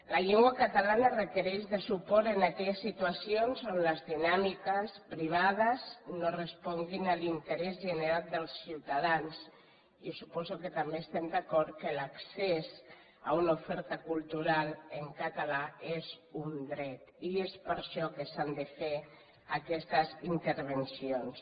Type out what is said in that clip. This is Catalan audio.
la llengua catalana requereix suport en aquelles situacions on les dinàmiques privades no responguin a l’interès general dels ciutadans i jo suposo que també estem d’acord que l’accés a una oferta cultural en català és un dret i és per això que s’han de fer aquestes intervencions